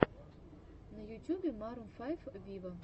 на ютюбе марун файв виво